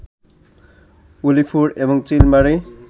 উলিপুর এবং চিলমারী